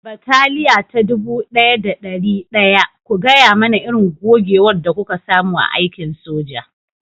Bataliya ta dubu ɗaya da ɗari ɗaya, ku gaya mana irin gogewar da kuka samu a aikin soja